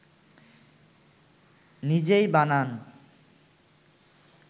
নিজেই বানান